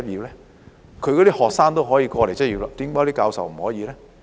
這些大學的學生可以來港執業，為何教授不可以呢？